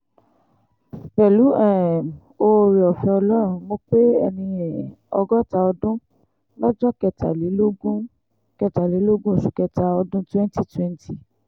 pẹ̀lú um oore-ọ̀fẹ́ ọlọ́run mọ̀ pé ẹni um ọgọ́ta ọdún lọ́jọ́ kẹtàlélógún kẹtàlélógún oṣù kẹta ọdún 2020